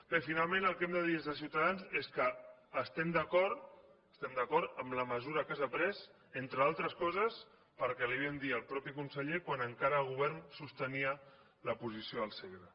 bé finalment el que hem de dir des de ciutadans és que estem d’acord amb la mesura que s’ha pres entre d’altres coses perquè li ho vam dir al mateix conseller quan encara en el govern sostenia la posició del segre